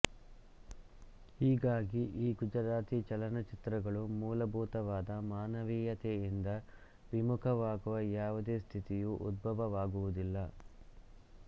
ಹೀಗಾಗಿ ಈ ಗುಜರಾತಿ ಚಲನಚಿತ್ರಗಳು ಮೂಲಭೂತವಾದ ಮಾನವೀಯತೆಯಿಂದ ವಿಮುಖವಾಗುವ ಯಾವುದೇ ಸ್ಥಿತಿಯು ಉದ್ಭವವಾಗುವುದಿಲ್ಲ